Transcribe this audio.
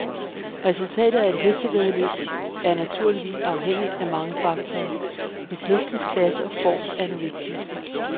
Resultatet af et hestevæddeløb er naturligvis afhængigt af mange faktorer, hvor hestens klasse og form er den vigtigste.